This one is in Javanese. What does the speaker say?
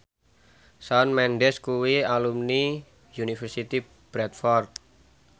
Shawn Mendes kuwi alumni Universitas Bradford